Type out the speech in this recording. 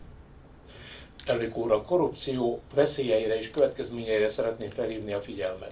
Tisztelt Elnök Úr! A korrupció veszélyeire és következményeire szeretném felhívni a figyelmet.